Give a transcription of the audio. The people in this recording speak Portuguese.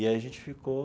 E aí a gente ficou...